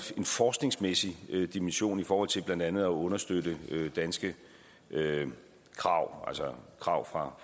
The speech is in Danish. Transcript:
forskningsmæssig dimension i forhold til blandt andet at understøtte danske krav altså krav fra